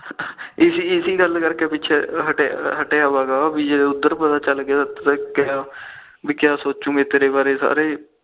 ਇਸੇ ਗੱਲ ਕਰਕੇ ਪਿਛੇ ਹੱਟਿਆ ਵਾ ਜੇ ਉਧਰ ਪਤਾ ਚੱਲ ਗਿਆ ਬੇ ਕਿਆ ਸੋਚੁਗੇ ਤੇਰੇ ਬਾਰੇ ਸਾਰੇ